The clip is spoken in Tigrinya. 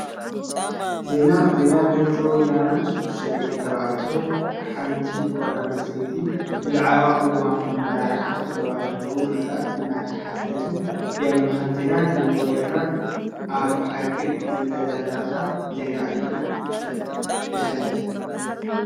ዜና ዜና ድምፂ ወያነ ሽዱሽተ ደቂ ተባዕትዮን ሓንቲ ጓል አንስተይትን ብዛዕባ ቅዋም አመራሓ ዞባ ደቡብ ምብራቅ እናተዛተዩ የመልክት፡፡ ዜና ድምፂ ወያነ አብ ሓቂ ዝተደረኸ ዜና ድዩ ዘሐልፍ?